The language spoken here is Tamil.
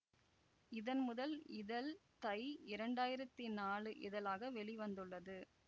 இதன் முதல் இதழ் தை இரண்டாயிரத்தி நாலு இதழாக வெளி வந்துள்ளது